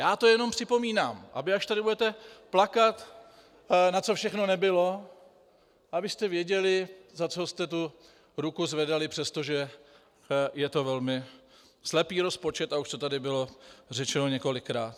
Já to jenom připomínám, aby až tady budete plakat, na co všechno nebylo, abyste věděli, za co jste tu ruku zvedali, přestože je to velmi slepý rozpočet, a už to tady bylo řečeno několikrát.